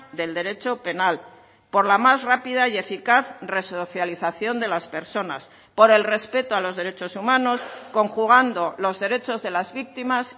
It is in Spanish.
del derecho penal por la más rápida y eficaz resocialización de las personas por el respeto a los derechos humanos conjugando los derechos de las víctimas